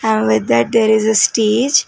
and with that there is a stage.